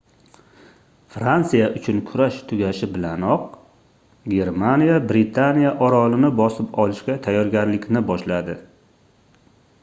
fransiya uchun kurash tugashi bilanoq germaniya britaniya orolini bosib olishga tayyorgarlikni boshladi